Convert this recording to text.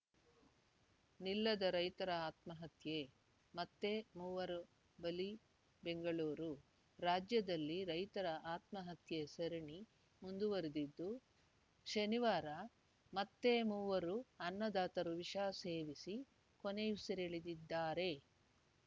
ನಿಲ್ಲದ ರೈತರ ಆತ್ಮಹತ್ಯೆ ಮತ್ತೆ ಮೂವರು ಬಲಿ ಬೆಂಗಳೂರು ರಾಜ್ಯದಲ್ಲಿ ರೈತರ ಆತ್ಮಹತ್ಯೆ ಸರಣಿ ಮುಂದುವರೆದಿದ್ದು ಶನಿವಾರ ಮತ್ತೆ ಮೂವರು ಅನ್ನದಾತರು ವಿಷ ಸೇವಿಸಿ ಕೊನೆಯುಸಿರೆಳೆದಿದ್ದಾರೆ